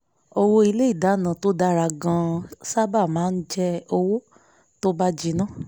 owó ilé ìdáná tó dára gan-an sábà máa ń jẹ́ owó tó ń bà jìnà